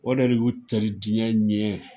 O de y'u cari jiɲɛ ɲɛ.